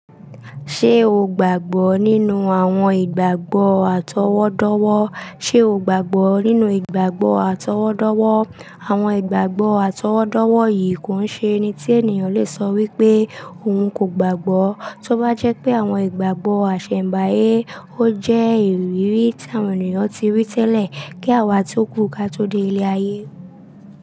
Ṣé o gbàgbọ́ nínú àwọn ìgbàgbọ́ àtọwọ́dọ́wọ́? Ṣé o gbàgbọ́ nínú ìgbàgbọ́ àtọwọ́dọ́wọ́? Àwọn ìgbàgbọ́ àtọwọ́dọ́wọ́ yìí kò i ṣe ẹni tí ènìyàn lè sọ wípé òun kò gbàgbọ́. Tó bá jẹ́ pé àwọn ìgbàgbọ́ iṣẹ̀m̀báyé ó jẹ́ ìrírí tí àwọn ènìyàn ti rí tẹ́lẹ̀ kí àwa tí ó kú ká tó dé ilé ayé.